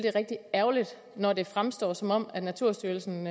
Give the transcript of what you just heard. er rigtig ærgerligt når det fremstår som om naturstyrelsen